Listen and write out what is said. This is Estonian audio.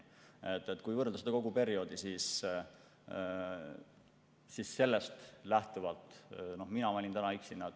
Kui võrrelda kogu perioodi, siis sellest lähtuvalt mina valin täna börsihinna.